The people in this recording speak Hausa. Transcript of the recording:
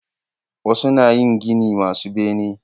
Wasu na yin gini masu bene